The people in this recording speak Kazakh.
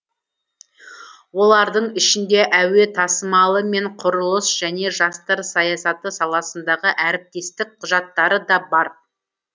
олардың ішінде әуе тасымалы мен құрылыс және жастар саясаты саласындағы әріптестік құжаттары да бар